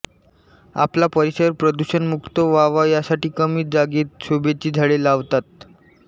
आपला परिसर प्रदूषणमुक्त व्हावा यासाठी कमी जागेत शोभेची झाडे लावतात